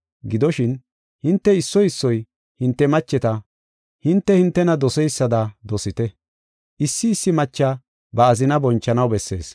Gidoshin, hinte issoy issoy hinte macheta hinte, hintena doseysada dosite. Issi issi macha ba azinaa bonchanaw bessees.